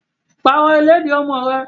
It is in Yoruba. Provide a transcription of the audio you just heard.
Pàrọ̀ ìlẹ́dì ọmọ ẹ!